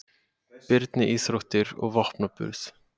Birni íþróttir og vopnaburð.